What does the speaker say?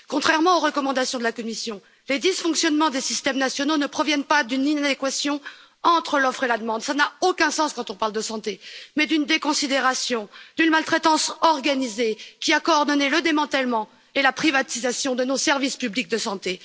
Contrairement aux recommandations de la Commission, les dysfonctionnements des systèmes nationaux ne proviennent pas d'une inadéquation entre l'offre et la demande, ce qui n'a aucun sens lorsqu'on parle de santé, mais d'une déconsidération, d'une maltraitance organisée, qui a coordonné le démantèlement et la privatisation de nos services publics de santé.